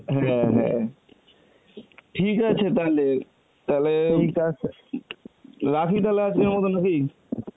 হ্যাঁ হ্যাঁ, ঠিক আছে তালে, তালে ওই রাখি তাহলে আজকের মতন নাকি